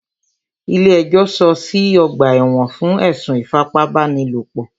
Ilé ẹjọ́ sọọ́ sí ọ̀gbà ẹ̀wọ̀n fún ẹ̀sùn ìfipábánilòpò.